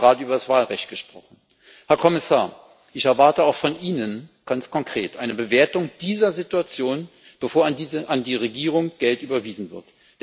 Wir haben gerade über das Wahlrecht gesprochen. Herr Kommissar, ich erwarte auch von Ihnen ganz konkret eine Bewertung dieser Situation, bevor an die Regierung Geld überwiesen wird.